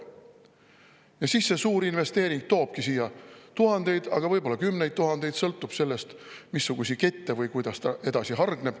" Ja siis see suur investeering toobki siia tuhandeid, võib-olla kümneid tuhandeid, sõltuvalt sellest, milliste kettidena või kuidas ta edasi hargneb.